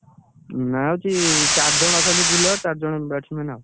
ନାଁ ହଉଛି ଚାରିଜଣ ଅଛନ୍ତି bowler ଚାରିଜଣ bats man ଆଉ।